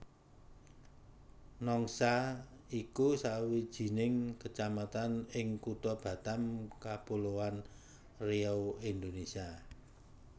Nongsa iku sawijining kecamatan ing Kutha Batam Kapuloan Riau Indonésia